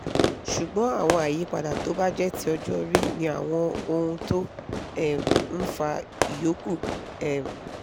ṣùgbọ́n àwọn àyípadà tó bá jẹ́ ti ọjọ́ orí ni àwọn ohun tó um ń fa ìyókù um